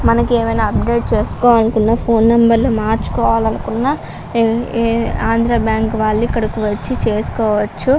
మనకి ఏమైనా అప్డేట్ చేసుకోవాలనుకున్నఫోన్లు నెంబర్లు మార్చుకోవాలి అనుకున్న ఈ ఆంధ్ర బ్యాంకు వాళ్లు ఇక్కడికి వచ్చి చేసుకోవచ్చు.